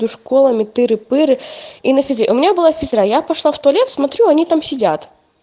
школа митты реперы и у меня была физра я пошла в туалет смотрю они там сидят